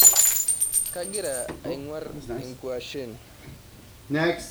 Kagira ang'war ingwashen.